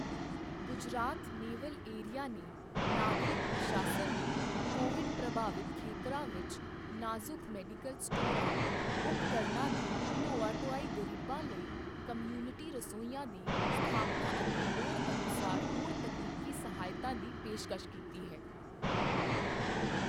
Gujarat naval area ਨੇ ਨਾਗਰਿਕ ਪ੍ਰਸ਼ਾਸਨ ਨੂੰ ਕੋਵਿਡ ਪ੍ਰਭਾਵਿਤ ਖੇਤਰਾਂ ਵਿੱਚ ਨਾਜ਼ੁਕ ਮੈਡੀਕਲ ਸਟੋਰਾਂ ਉਪਕਰਣਾਂ ਦੀ ਢੋਆ ਢੁਆਈ ਗਰੀਬਾਂ ਲਈ ਕਮਿਉਨਿਟੀ ਰਸੋਈਆਂ ਦੀ ਸਥਾਪਨਾ ਅਤੇ ਲੋੜ ਅਨੁਸਾਰ ਹੋਰ ਤਕਨੀਕੀ ਸਹਾਇਤਾ ਦੀ ਪੇਸ਼ਕਸ਼ ਕੀਤੀ ਹੈ।